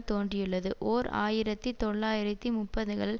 தோன்றியுள்ளது ஓர் ஆயிரத்தி தொள்ளாயிரத்தி முப்பதுகளில்